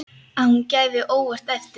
Að hún gefi óvænt eftir.